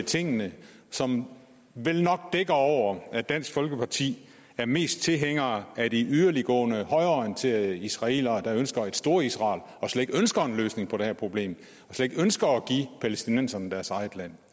tingene som vel nok dækker over at dansk folkeparti er mest tilhænger af de yderliggående højreorienterede israelere der ønsker et storisrael og slet ikke ønsker en løsning på det her problem slet ikke ønsker at give palæstinenserne deres eget land